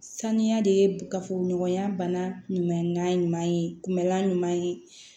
Sanuya de ye gafe ɲɔgɔnya bana ɲuman ye kunbɛla ɲuman ye